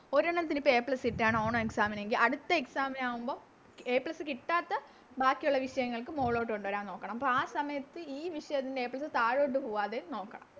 ഒരെണ്ണത്തിന് ഇപ്പൊ A plus കിട്ടാണ് ഓണം Exam നെങ്കി അടുത്ത Exam നാവുമ്പോ A plus കിട്ടാത്ത ബാക്കിയൊള്ള വിഷയങ്ങൾക്ക് മോളിലോട്ട് കൊണ്ടുവരാൻ നോക്കണം അപ്പൊ ആ സമയത്ത് ഈ വിഷയത്തിന് A plus താഴോട്ട് പോകാതെയും നോക്കണം